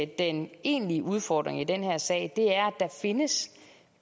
den egentlige udfordring i den her sag er der findes